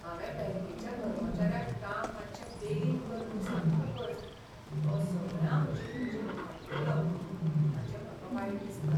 हांवें बँकेच्या कर्मचाऱ्याक काम मात्शें बेगीन कर म्हूण सांगतकच तो सगळ्यां हुजीर म्हजेर आड्डलो हाचें म्हाका वायट दिसता.